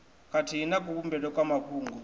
khathihi na kuvhumbelwe kwa mafhungo